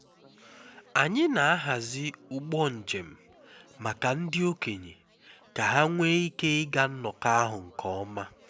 anyị na-ahazi ụgbọ njem maka ndị okenye ka ha nwee ike ịga nnọkọ ahụ nke ọma